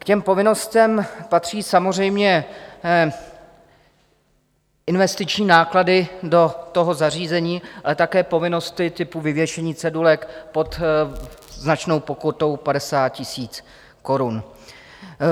K těm povinnostem patří samozřejmě investiční náklady do toho zařízení, ale také povinnosti typu vyvěšení cedulek pod značnou pokutou 50 000 korun.